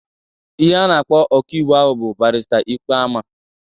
Ihe a na-akpọ ọka iwu ahụ bụ Barịsta Ikpeama.